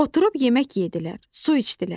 Oturub yemək yedülər, su içdilər.